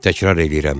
Təkrar eləyirəm.